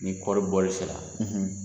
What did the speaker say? Ni kɔɔri bɔli se la